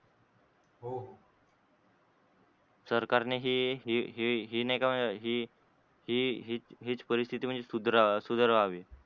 सरकारने हे हे हे हे हे नाही का हे हे हेच परिस्तिथी म्हणजे सुधारावी.